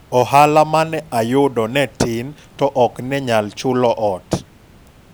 ohala mane aydo ne tin to ok ne nyal chulo ot